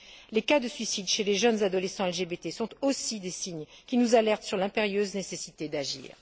Les cas de suicide chez les jeunes adolescents LGBT sont aussi des signes qui nous alertent sur l'impérieuse nécessité d'agir.